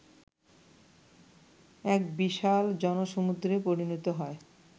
এক বিশাল জনসমূদ্রে পরিণত হয়